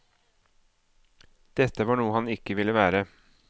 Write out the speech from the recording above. Dette var noe han ikke ville være.